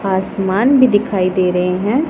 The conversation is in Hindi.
आसमान भी दिखाई दे रहे हैं।